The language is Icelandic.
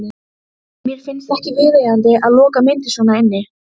Þau ætluðu að hvíla sig á ströndinni.